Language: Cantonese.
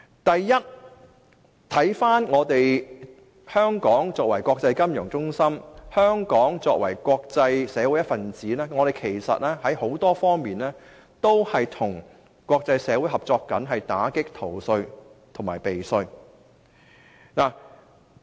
第一，香港作為國際金融中心及國際社會的一分子，在很多方面都與國際社會合作打擊逃稅和避稅。